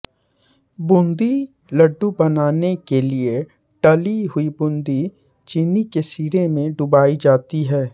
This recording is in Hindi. बूंदी लडु बनाने के लिए टली हुई बूंदी चीनी के शीरे में डुबोई जाती है